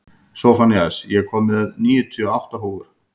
Sophanías, ég kom með níutíu og átta húfur!